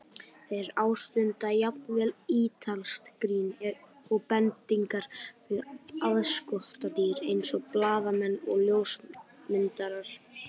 Þeir ástunda jafnvel ítalskt grín og bendingar við aðskotadýr eins og blaðamenn og ljósmyndara.